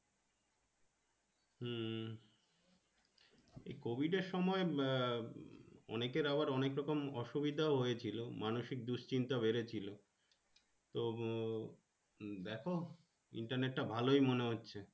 হম এ COVID আহ অনেকের আবার অনেকরকম অসুবিধা হয়েছিল মানুষিক দুশ্চিন্তা বেড়েছিল তো দেখ Internet টা ভালোই মনে হচ্ছে